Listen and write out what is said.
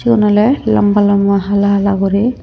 siun oly lamba lamba hala hala guri.